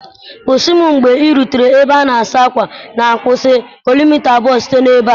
Kwụsị m mgbe ị rutere ebe a na-asa ákwà na-akwụsị kilomita abụọ site na ebe a!